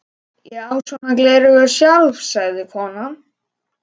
Ég á svona gleraugu sjálf, sagði konan.